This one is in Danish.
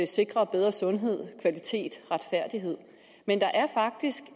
sikre bedre sundhed kvalitet og retfærdighed men der er faktisk